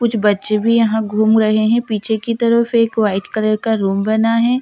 कुछ बच्चे भी यहाँ घूम रहे है पीछे की तरफ एक वाइट कलर का रूम बना हुआ है --